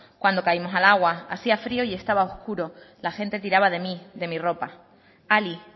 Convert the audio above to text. cuando caímos al agua hacia frio y estaba oscuro la gente tiraba de mí de mi ropa ali